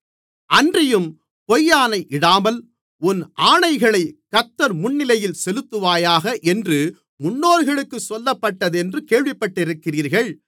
அன்றியும் பொய்யாணையிடாமல் உன் ஆணைகளைக் கர்த்தர் முன்னிலையில் செலுத்துவாயாக என்று முன்னோர்களுக்குச் சொல்லப்பட்டதென்று கேள்விப்பட்டிருக்கிறீர்கள்